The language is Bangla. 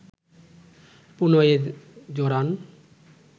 প্রণয়ে জড়ান